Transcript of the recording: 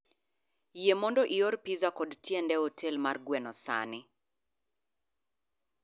Yie mondo ior pizza kod tiende e otel mar gweno sani